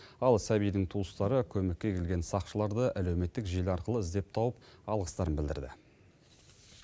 ал сәбидің туыстары көмекке келген сақшыларды әлеуметтік желі арқылы іздеп тауып алғыстарын білдірді